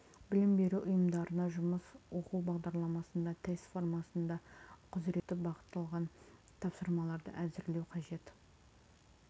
білім беру ұйымдарына жұмыс оқу бағдарламасында тест формасында құзыретті бағытталған тапсырмаларды әзірлеу қажет